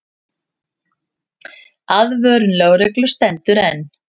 Aðvörun lögreglu stendur enn.